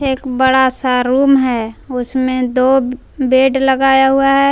एक बड़ा सा रूम है उसमें दो बेड लगाया हुआ है।